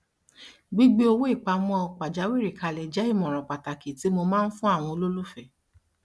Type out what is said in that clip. gbígbé owó ìpamọ pajawírí kalẹ jẹ ìmọràn pàtàkì tí mo máa ń fún àwọn olólùfẹ